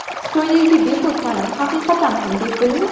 Xitoydagi bepul ta’lim haqiqatan ham bepulmi?.